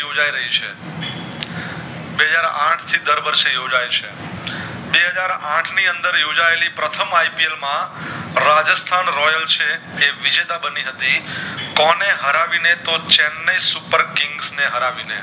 બે હાજર આઠ વર્ષ થી યોજાય છે બે હાજર આઠ ની અંદર યોજાયેલી પ્રથમ ipl માં રાજેસ્થાન royal છે એ વિજેતા બની હતી કોને હરાવી ને તો ચેનાઈ supper king ને હરાવી ને